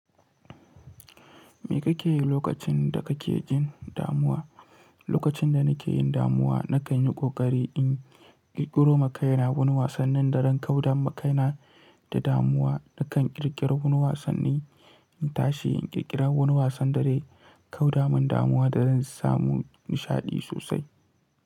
Me kake yi lokacin da kake jin damuwa? Lokacin da nake yin damuwa, na kan yi ƙoƙari in ƙirƙiro ma kaina wani wasanni, dazan kau da makaina da damuwa. Na kan ƙirƙiri wani wasanni, in tashi in ƙirƙiri wani wasan da zai kau da min damuwa da zan samu nishaɗi sosai.